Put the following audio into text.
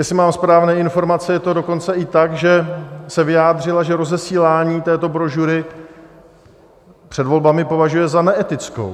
Jestli mám správné informace, je to dokonce i tak, že se vyjádřila, že rozesílání této brožury před volbami považuje za neetické.